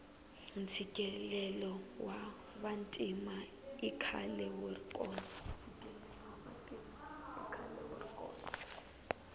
ntshikelelo wa vantima ikhale wuri kona